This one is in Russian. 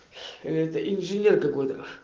эта инженерка годах